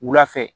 Wula fɛ